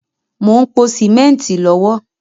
Mo ń pò símẹ́ntì lọ́wọ́